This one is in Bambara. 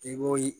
I b'o